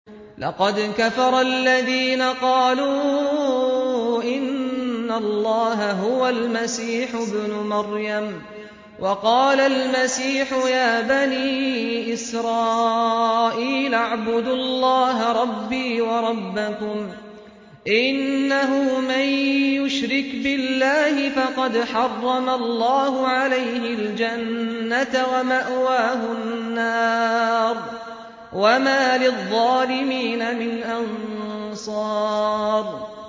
لَقَدْ كَفَرَ الَّذِينَ قَالُوا إِنَّ اللَّهَ هُوَ الْمَسِيحُ ابْنُ مَرْيَمَ ۖ وَقَالَ الْمَسِيحُ يَا بَنِي إِسْرَائِيلَ اعْبُدُوا اللَّهَ رَبِّي وَرَبَّكُمْ ۖ إِنَّهُ مَن يُشْرِكْ بِاللَّهِ فَقَدْ حَرَّمَ اللَّهُ عَلَيْهِ الْجَنَّةَ وَمَأْوَاهُ النَّارُ ۖ وَمَا لِلظَّالِمِينَ مِنْ أَنصَارٍ